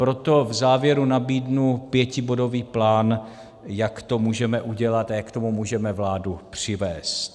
Proto v závěru nabídnu pětibodový plán, jak to můžeme udělat a jak k tomu můžeme vládu přivést.